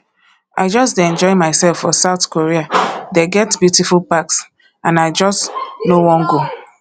i just dey enjoy myself for south korea they get beautiful parks and i just no wan go